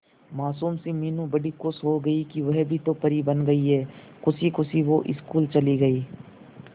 मासूम सी मीनू बड़ी खुश हो गई कि वह भी तो परी बन गई है खुशी खुशी वो स्कूल चली गई